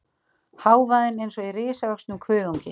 Hávaðinn eins og í risavöxnum kuðungi.